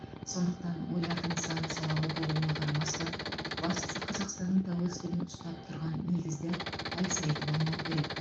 сондықтан ойлардың сан салалы болуына қарамастан бастысы қазақстанның тәуелсіздігін ұстап тұрған негізді әлсіретіп алмау керек